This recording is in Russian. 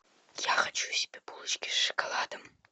я хочу себе булочки с шоколадом